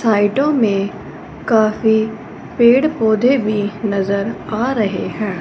साइडों में काफी पेड़ पौधे भी नजर आ रहे हैं।